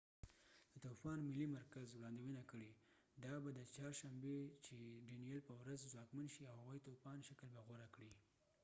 د طوفان ملي مرکز وړاندوينه کړي ده چې ډینیل danielle به د چهارشنبې په ورځ ځواکمن شي او هوایي طوفان شکل به غوره کړي